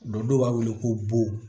Don dɔw b'a wele ko bo